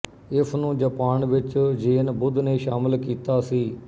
ਇਸਨੂੰ ਜਪਾਨ ਵਿੱਚ ਜ਼ੇਨ ਬੁੱਧ ਨੇ ਸ਼ਾਮਲ ਕਿੱਤਾ ਸੀ